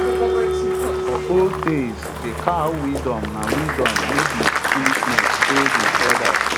for old tales de cow wisdom na wisdom no be foolishness say de elders